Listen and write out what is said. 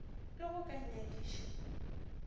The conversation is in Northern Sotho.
le ge o ka nngadiša